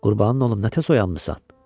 Qurbanın olum nə tez oyanmısan?